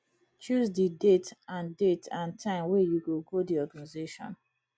choose di date and date and time wey you go go di organisation